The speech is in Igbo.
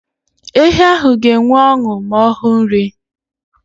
Ehi ahụ ga enwe ọṅụ ma ọhụ nri